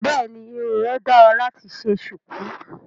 Bẹ́ẹ̀ni irun rẹ dára láti ṣe ṣùkú